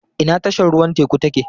Ina tashar ruwan teku take?